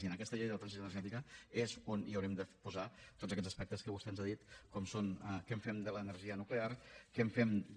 i en aquesta llei de la transició energètica és on haurem de posar tots aquests aspectes que vostè ens ha dit com són què en fem de l’energia nuclear què en fem de